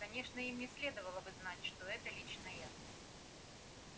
конечно им не следовало бы знать что это лично я